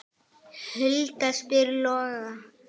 Hulda spyr Loga